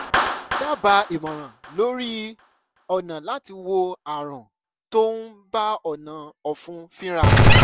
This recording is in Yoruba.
dábàá ìmọ̀ràn lórí ọ̀nà láti wo ààrùn tó ń bá ọ̀nà ọ̀fun fínra